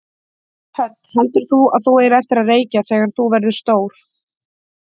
Hödd: Heldur þú að þú eigir eftir að reykja þegar þú verður stór?